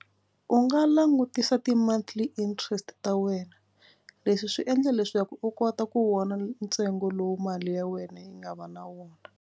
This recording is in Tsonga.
U nga langutisa ti-monthly interest ta wena. Leswi swi endla leswaku u kota ku vona ntsengo lowu mali ya wena yi nga va na wona.